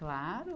Claro.